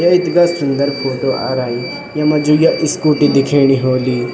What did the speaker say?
या इथगा सुन्दर फोटो आरई येमा ये जो स्कूटी दिखेणी होली --